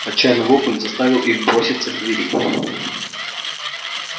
отчаянный вопль заставил их броситься к двери